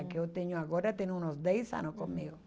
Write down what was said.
A que eu tenho agora tem uns dez anos comigo.